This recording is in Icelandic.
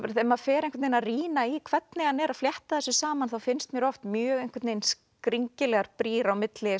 þegar maður fer að rýna í hvernig hann er að flétta þessu saman þá finnst mér oft mjög skringilegar brýr á milli